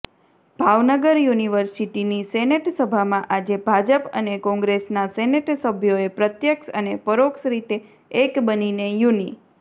ભાવનગર યુનિર્વિસટીની સેનેટસભામાં આજે ભાજપ અને કોંગ્રેસના સેનેટસભ્યોએ પ્રત્યક્ષ અને પરોક્ષ રીતે એક બનીને યુનિ